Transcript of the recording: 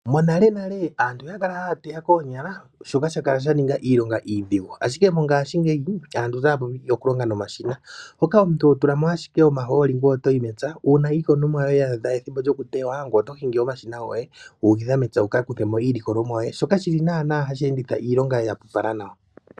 Monalenale aantu oya kala haya teya koonyala shoka sha kala sha ninga iilonga iidhigu. Ashike mongashingeyi aantu otaya vulu okulonga nomashina, mpoka omuntu ho tula mo ashike omahooli ngweye otoyi mepya. Uuna iikunomwa ya adha ethimbo lyokutewa ngweye oto hingi omashina goye wu ukitha mepya wuka kuthe mo iilikolomwa yoye, shoka shili naanaa hashi enditha iilonga ya apupala nawa.